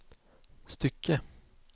stycke